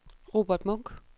Robert Munch